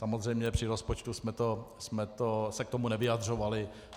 Samozřejmě při rozpočtu jsme se k tomu nevyjadřovali.